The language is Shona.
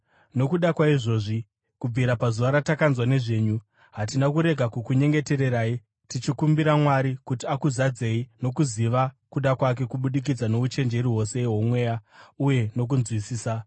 Nokuda kwaizvozvi, kubvira pazuva ratakanzwa nezvenyu, hatina kurega kukunyengetererai tichikumbira Mwari kuti akuzadzei nokuziva kuda kwake kubudikidza nouchenjeri hwose hwomweya, uye nokunzwisisa.